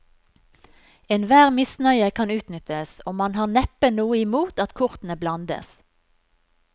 Enhver misnøye kan utnyttes, og man har neppe noe imot at kortene blandes.